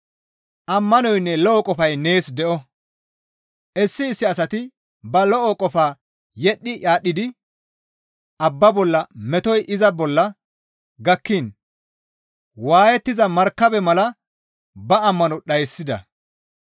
Ammanoynne lo7o qofay nees de7o; issi issi asati ba lo7o qofaa yedhdhi aadhdhidi abba bolla metoy iza bolla gakkiin waayettiza markabe mala ba ammano dhayssida.